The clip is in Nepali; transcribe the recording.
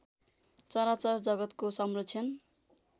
चराचर जगतको संरक्षण